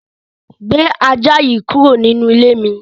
Gbé ajá yìí kúrò nínú ilé mi!